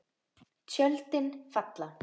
Tjöldin falla.